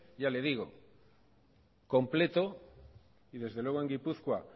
ya le digo completo y desde luego en gipuzkoa